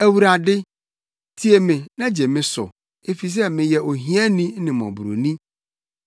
Awurade, tie me na gye me so, efisɛ meyɛ ohiani ne mmɔborɔni.